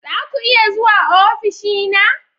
Za ku iya zuwa ofishina?